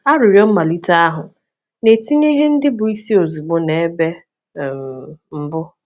Arịrịọ mmalite ahụ na-etinye ihe ndị bụ́ isi ozugbo n’ebe um mbụ.